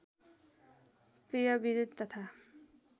पेय विद्युत् तथा